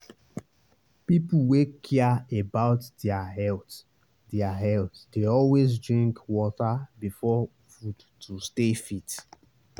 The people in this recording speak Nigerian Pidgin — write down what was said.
people wey care about their health their health dey always drink water before food to stay fit.